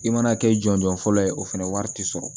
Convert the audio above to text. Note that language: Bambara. I mana kɛ jɔnjɔn fɔlɔ ye o fana wari tɛ sɔrɔ